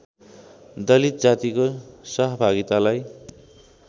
दलित जातिको सहभागितालाई